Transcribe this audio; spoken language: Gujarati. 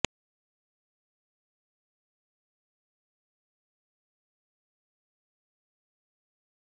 આ એક ઉત્તમ લક્ષણ છે જે બહુ ઓછી જગ્યા ધરાવે છે